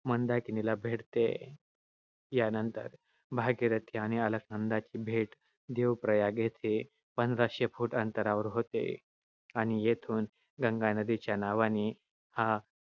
मंदाकिनीला भेटते. यानंतर भागीरथी आणि अलकनंदाची भेट देवप्रयाग येथे पंधराशे feet अंतरावर होते, आणि येथून गंगा नदीच्या नावाने